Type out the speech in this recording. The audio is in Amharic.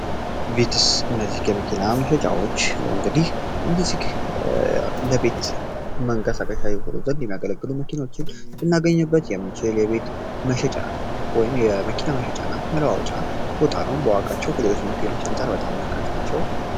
የመኪናዎች እንግዲ ለቤት መንቀሳቃለ መኪኖችን ልናገኝበት መሸጫ ወይም የመኪና መለዋወጫ ቦታውን በዋጋቸው ከሌሎች መኪኖች አንጻር በጣም ርካሽ ናቸው